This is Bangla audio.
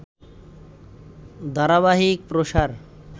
ধারাবাহিক প্রসার